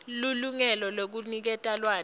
lilungelo lekuniketa lwati